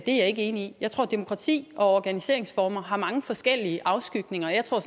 er jeg ikke enig i jeg tror at demokrati og organiseringsformer har mange forskellige afskygninger jeg tror